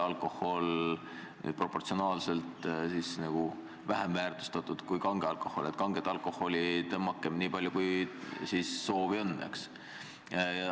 Ja ka see, et lahja alkohol on suhtelislt kallim kui kange alkohol, et kanget alkoholi pruukige nii palju, kui soovi on.